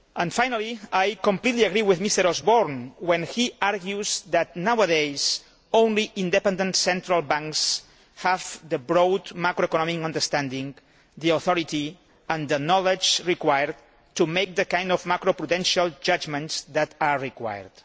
Finally, I completely agree with Mr Osborne when he argues that nowadays, only independent central banks have the broad macro economic understanding, the authority and the knowledge required to make the kind of macro prudential judgments that are required.